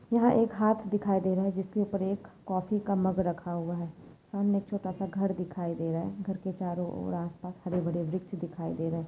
यहा एक हात दिखाई दे रहा है यहाँ पर एक कॉफ़ी का मग रखा हुआ है सामने एक छोटासा घर दिखाई दे रहा है घर के चारो और आस पास हरेभरे वृक्ष दिखाई दे रहे है।